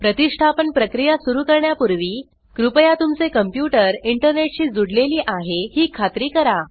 प्रतिष्ठापन प्रक्रिया सुरू करण्यापुर्वी कृपया तुमचे कंप्यूटर इंटरनेट शी जूडलेली आहे ही खात्री करा